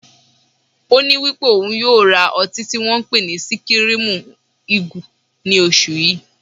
Oní wípé ò ń yóò ra ọtí tí wón ń pè ní Síkírímú Igù ní oṣù yí.